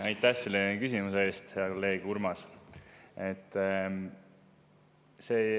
Aitäh selle küsimuse eest, hea kolleeg Urmas!